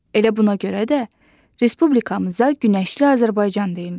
Elə buna görə də respublikamıza Günəşli Azərbaycan deyirlər.